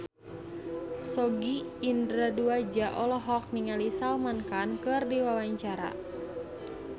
Sogi Indra Duaja olohok ningali Salman Khan keur diwawancara